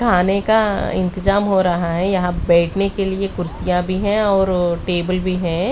आने का इंतजाम हो रहा है यहां बैठने के लिए कुर्सियां भी हैं और टेबल भी हैं।